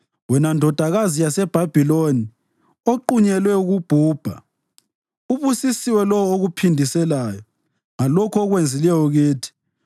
Wena Ndodakazi yaseBhabhiloni, oqunyelwe ukubhubha, ubusisiwe lowo okuphindiselayo ngalokho okwenzileyo kithi.